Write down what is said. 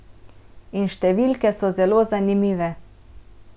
In številke so zelo zanimive.